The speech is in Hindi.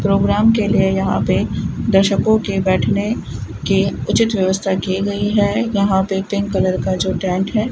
प्रोग्राम के लिए यहां पे दर्शकों के बैठने की उचित व्यवस्था की गई है यहां पे पिंक कलर का जो टेंट है।